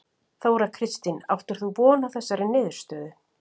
Þóra Kristín: Áttir þú von á þessari niðurstöðu?